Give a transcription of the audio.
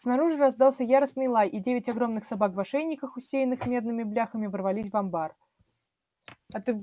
снаружи раздался яростный лай и девять огромных собак в ошейниках усеянных медными бляхами ворвались в амбар